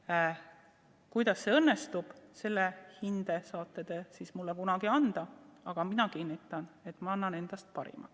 Selle kohta, kuidas see õnnestub, saate mulle kunagi hinde anda, aga ma kinnitan, et annan endast parima.